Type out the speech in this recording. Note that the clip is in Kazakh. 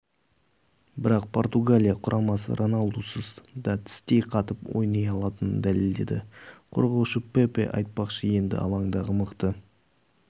бірақ португалия құрамасы роналдусыз да тістей қатып ойнай алатынын дәлелдеді қорғаушы пепе айтпақшы енді алаңдағы мықты